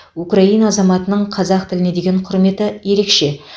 украина азаматының қазақ тіліне деген құрметі ерекше